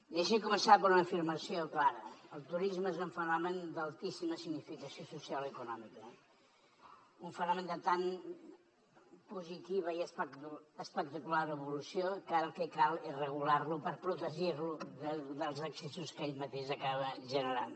deixi’m començar per una afirmació clara el turisme és un fenomen d’altíssima significació social i econòmica un fenomen de tan positiva i espectacular evolució que ara el que cal és regular lo per protegir lo dels excessos que ell mateix acaba generant